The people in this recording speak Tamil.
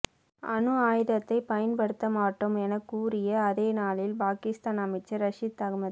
அணு ஆயுதத்தை பயன்படுத்தமாட்டோம் எனக் கூறிய அதே நாளில் பாகிஸ்தான் அமைச்சர் ரஷித் அகமது